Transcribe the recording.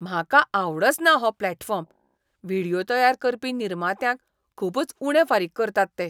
म्हाका आवडचना हो प्लॅटफॉर्म. व्हिडियो तयार करपी निर्मात्यांक खूबच उणे फारीक करतात ते.